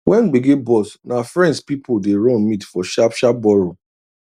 when gbege burst na friends people dey run meet for sharp sharp borrow